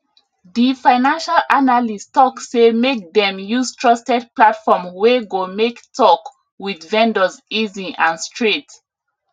the financial analyst talk say make dem use trusted platform wey go make talk with vendors easy and straight